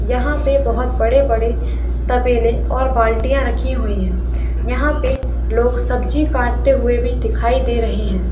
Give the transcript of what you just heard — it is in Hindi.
यहाँ पे बहुत बड़े बड़े तबेले और बाल्टीया राखी हुई है यहाँ पे लोग सब्जी काटते हुए भी दिखाई दे रहे है।